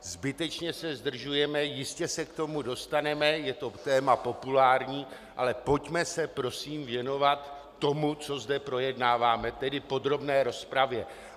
Zbytečně se zdržujeme, jistě se k tomu dostaneme, je to téma populární, ale pojďme se prosím věnovat tomu, co zde projednáváme, tedy podrobné rozpravě.